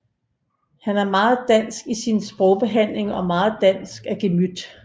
Han er meget dansk i sin sprogbehandling og meget dansk af gemyt